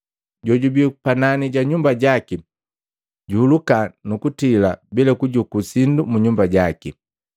Jojubii kunani ja nyumba jaki juhuluka nu kutila bila kujuku sindu mu nyumba jaki.